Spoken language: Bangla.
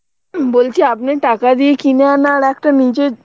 বলছি আপনি টাকা দিয়ে কিনে আনা আর একটা নিজের